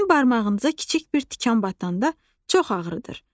sizin barmağınıza kiçik bir tikan batanda çox ağrıdır.